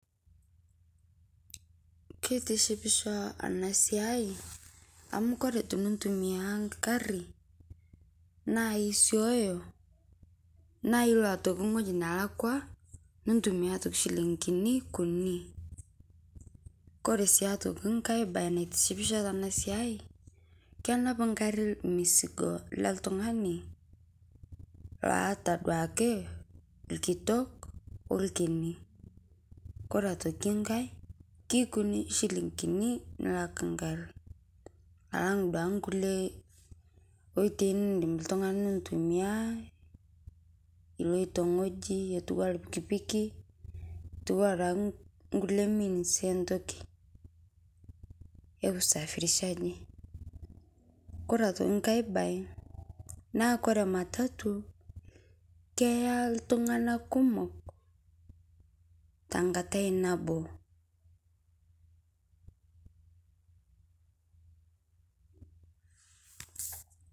Keitishipisho ana siai amu kore tunu ntumia nkaari naa isooyo na iloo aitokii ng'oji nalakwa nintumia aitokii shiling'ini kunii. Kore sii aitokii nkaai bayi naitishipisho tana sia kenaap nkaari msigoo le ltung'ani loata duake lkitook olkinii. Kore aitokii nkaai kekunii shiiling'ini nilaak nkaari alang' duake nkulee otei nidiim ltung'ani aitumia eloito ng'oji etuaa lpikipiki etua duake nkulee means entokii e kusafirishaji. Kore aitokii nkaai bayi naa kore matatu keeya ltung'ana kumook ta nkaatai naboo.